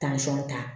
ta